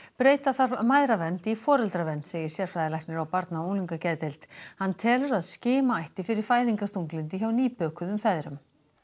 breyta þarf mæðravernd í foreldravernd segir sérfræðilæknir á barna og unglingageðdeild hann telur að skima ætti fyrir fæðingarþunglyndi hjá nýbökuðum feðrum